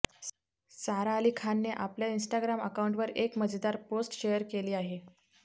सारा अली खानने आपल्या इन्स्टाग्राम अकाऊँटवर एक मजेदार पोस्ट शेअर केली आहे